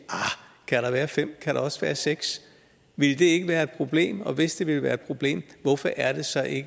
kan der være fem kan der også være seks ville det ikke være et problem og hvis det ville være et problem hvorfor er det så